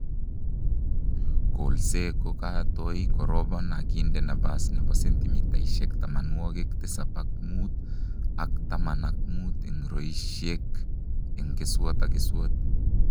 Kolse kokatoi korobon akinde nabas nebo sentimitaishek tamanwokik tisab ak muut ak taman ak muut eng roishek eng keswot ak keswot